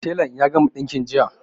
Telan ya gama ɗinkin jiya